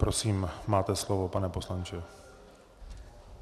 Prosím, máte slovo, pane poslanče.